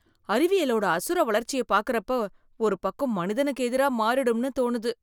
அறிவியலோட அசுர வளர்ச்சியை பார்க்கிறப்ப ஒரு பக்கம் , மனிதனுக்கு எதிரா மாறிடும்னு தோணுது.